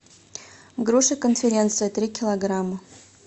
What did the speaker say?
груша конференция три килограмма